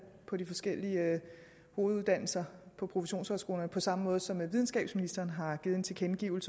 på de forskellige hoveduddannelser på professionshøjskolerne på samme måde som videnskabsministeren har tilkendegivet